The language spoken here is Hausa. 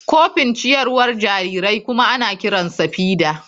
Kofin ciyarwar jarirai kuma ana kiransa feeder.